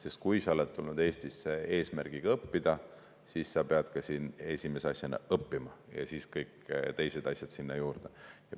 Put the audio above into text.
Sest kui ta on tulnud Eestisse eesmärgiga õppida, siis ta peabki siin esimese asjana õppima, ja siis kõik teised asjad sinna juurde.